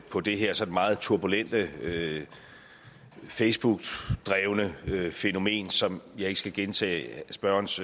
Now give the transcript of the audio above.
på det her sådan meget turbulente facebook drevne fænomen som jeg ikke skal gentage spørgerens